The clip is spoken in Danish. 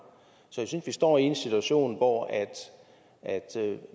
så jeg synes vi står i en situation hvor